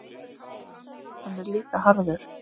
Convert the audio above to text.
Hann er líka harður.